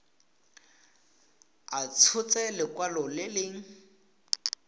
a tshotse lekwalo le le